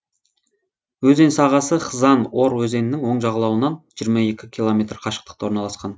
өзен сағасы хзан ор өзенінің оң жағалауынан жиырма екі километр қашықтықта орналасқан